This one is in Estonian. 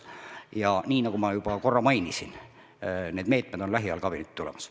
Ja nagu ma juba korra mainisin, on need meetmed lähiajal kabinetti tulemas.